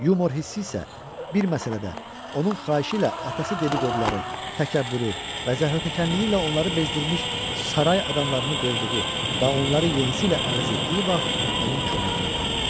Yumor hissi isə bir məsələdə, onun xahişi ilə atası dedi-qoduları, təkəbbürü və zəhlə tökənliyi ilə onları bezdirmiş saray adamlarını qovduğu və onları yenisi ilə əvəz etdiyi vaxt onun köməyinə gəldi.